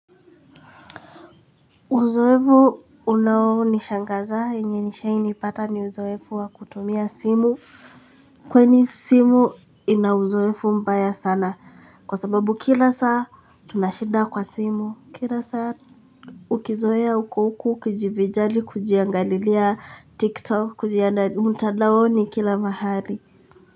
Uzoefu unao nishangazaye yenye nishaini ipata ni uzoefu wa kutumia simu kwani simu ina uzoefu mbaya sana kwa sababu kila saa tunashida kwa simu kila saa. Ukizoea uko huku ukijivinjari kujiangalilia tiktok kujianda mtadaoni kila mahali.